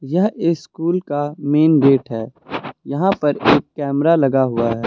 यह स्कूल का main gate है यहां पर एक कैमरा लगा हुआ है।